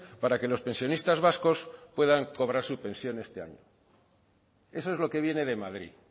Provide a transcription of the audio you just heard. para que los pensionistas vascos puedan cobrar su pensión este año eso es lo que viene de madrid